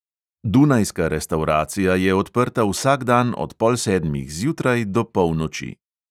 Dunajska restavracija je odprta vsak dan od pol sedmih zjutraj do polnoči.